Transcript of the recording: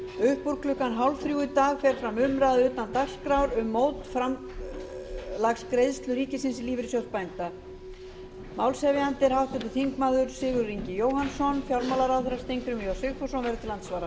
upp úr um klukkan fjórtán þrjátíu í dag fer fram umræða utan dagskrár um mótframlagsgreiðslu ríkisins í lífeyrissjóð bænda málshefjandi er háttvirtur þingmaður sigurður ingi jóhannsson fjármálaráðherra steingrímur j sigfússon verður til andsvara